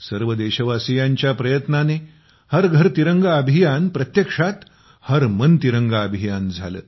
सर्व देशवासीयांच्या प्रयत्नाने हर घर तिरंगा अभियान प्रत्यक्षात हर मन तिरंगा अभियान झाले